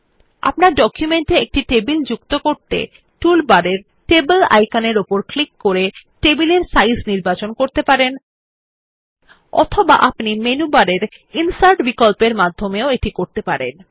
আপনার ডকুমেন্টে একটি টেবিল যুক্ত করতে আপনি টুল বারের টেবল আইকনে ক্লিক করে টেবিল এর সাইজ নির্বাচন করতে পারেন অথবা আপনি মেনু বারের ইনসার্ট বিকল্প মাধ্যমেও যেতে পারেন